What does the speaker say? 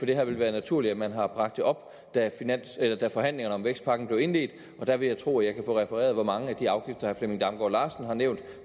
det har vel været naturligt at man har bragt det op da forhandlingerne om vækstpakken blev indledt og der vil jeg tro at jeg kan få refereret hvor mange af de afgifter flemming damgaard larsen har nævnt